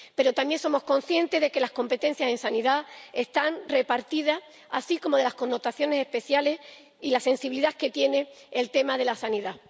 Pero también somos conscientes de que las competencias en sanidad están repartidas, así como de las connotaciones especiales y la sensibilidad que tiene el tema de la sanidad.